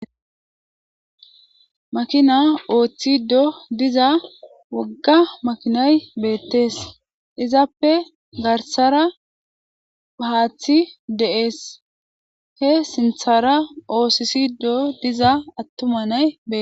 Makina ooththido diza wogga makinay beettes izappe garsara ahaathi de,ees he sinthara oosisido diza attuma naybe.